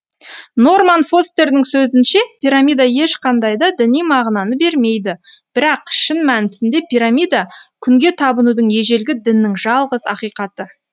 норман фостердің сөзінше пирамида ешқандай да діни мағынаны бермейді бірақ шын мәнісінде пирамида күнге табынудың ежелгі діннің жалғыз ақиқаты